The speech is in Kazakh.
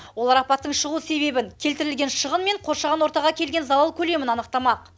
олар апаттың шығу себебін келтірілген шығын мен қоршаған ортаға келген залал көлемін анықтамақ